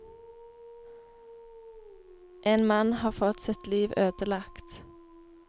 En mann har fått sitt liv ødelagt.